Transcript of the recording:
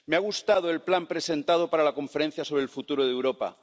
Me ha gustado el plan presentado para la Conferencia sobre el Futuro de Europa.